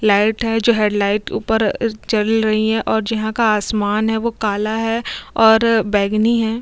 Light है जो head light के ऊपर जल रही है और जो जहाँ का आसमान है जो काला है और बैंगनी हैं।